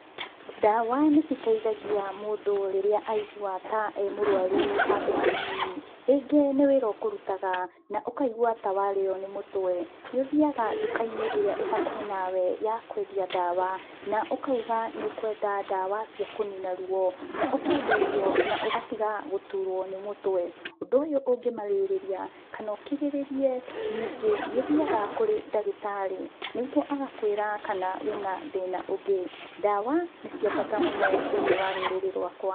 Ndawa nĩ citeithagia mũndũ rĩrĩa aigua ta emũrwaru handũ hanini. Rĩngĩ nĩ wĩra ũkũrutaga na ũkaigua ta warĩyo nĩ mũtwe nĩũthiyaga nduka-inĩ ĩria ĩhakuhĩ nawe ya kwendia ndawa, na ũkauga nĩ ũkwenda ndawa cia kũnina ruo. Na ũkenderio na ũgatiga gũturwo nĩ mũtwe ,Ũndũ ũyũ ũngĩmairĩria kana ũkirĩrĩrie ningĩ nĩ ũthiyaga kũrĩ ndagĩtarĩ nĩguo agakwĩra kana wĩna thĩna ũngĩ. Ndawa nĩ cia bata mũno thĩiniĩ wa rũrĩrĩ rwakwa.